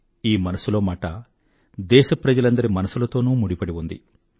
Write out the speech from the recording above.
ఈ మనసులో మాట దేశప్రజలందరి మనసులతో ముడిపడి ఉంది